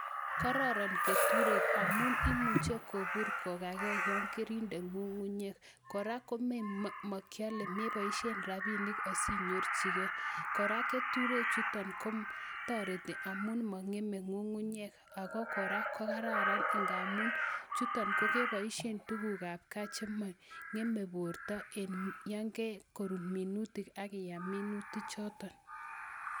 Kororon keturek amun imuche kobur kogagei yon kerindei ng'ung'unyek. Kora kome makyale, meboisien rabiinik asinyorchigei. Kora keturek chuton kotoreti amun mong'eme ng'ung'unyek ago kora ko kararan ingamun chuton kogeboisien tuguuk ab gaa chemong'eme borto en yonge korur minutik akiyam minutik choton.